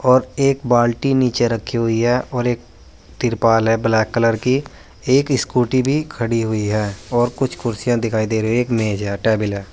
और एक बाल्टी नीचे रखी हुई है और एक तिरपाल है ब्लैक कलर की एक स्कूटी भी खड़ी हुई है और कुछ कुर्सियां दिखाई दे रहे है एक मेज है टेबल है।